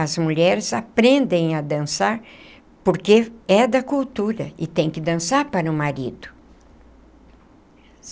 As mulheres aprendem a dançar porque é da cultura e tem que dançar para o marido.